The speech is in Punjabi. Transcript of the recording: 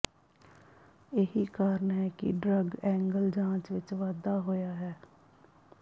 ਇਹੀ ਕਾਰਨ ਹੈ ਕਿ ਡਰੱਗ ਐਂਗਲ ਜਾਂਚ ਵਿਚ ਵਾਧਾ ਹੋਇਆ ਹੈ